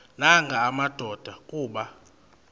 nanga madoda kuba